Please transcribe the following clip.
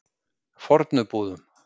Fornubúðum